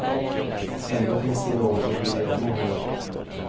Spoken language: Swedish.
Ändå finns det något som skiljer dem åt.